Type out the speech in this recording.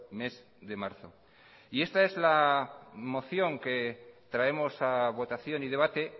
mes de marzo y esta es la moción que traemos a votación y debate